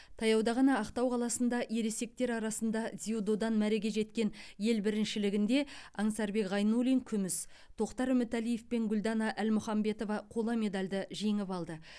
таяуда ғана ақтау қаласында ересектер арасында дзюдодан мәреге жеткен ел біріншілігінде аңсарбек ғайнуллин күміс тоқтар үмітәлиев пен гүлдана әлмұханбетова қола медальді жеңіп алды